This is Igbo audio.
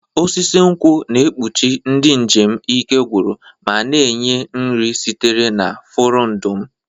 Osisi nkwụ na-ekpuchi ndị njem ike gwụrụ ma na-enye nri sitere na furondu m.